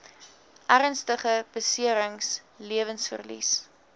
ernstige beserings lewensverlies